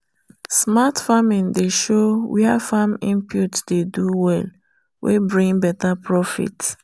smart farming dey show where farm input dey do well weybring better profit.